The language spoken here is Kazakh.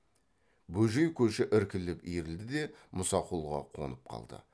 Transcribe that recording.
бөжей көші іркіліп иірілді де мұсақұлға қонып қалды